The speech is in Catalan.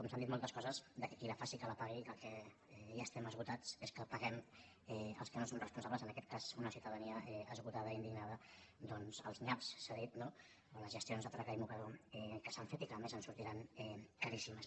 s’han dit moltes coses que qui la faci que la pagui que del que ja estem esgotats es del fet que paguem els que no som responsables en aquest cas una ciutadania esgotada i indignada doncs els nyaps s’ha dit no o les gestions de traca i mocador que s’han fet i que a més ens sortiran caríssimes